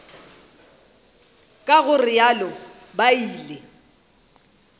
ka go realo ba ile